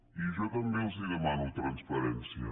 i jo també els demano transparència